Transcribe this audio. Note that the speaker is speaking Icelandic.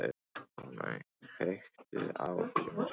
Fanney, kveiktu á sjónvarpinu.